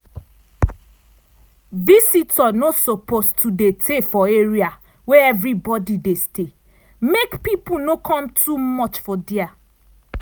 visitor no suppose to dey tey for area wey everybody dey stay make people no come too much for dia.